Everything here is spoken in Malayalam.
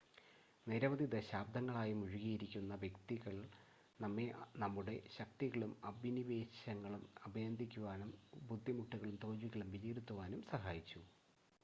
നിരവധി ദശാബ്ദങ്ങളായി മുഴുകിയിരിക്കുന്ന വ്യക്തികൾ നമ്മെ നമ്മുടെ ശക്തികളും അഭിനിവേശങ്ങളും അഭിനന്ദിക്കുവാനും ബുദ്ധിമുട്ടുകളും തോൽവികളും വിലയിരുത്തുവാനും സഹായിച്ചു